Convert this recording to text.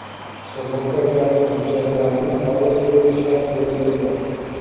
sug‘urta kabi hujjatlarni olib yurish shart bo‘lmaydi.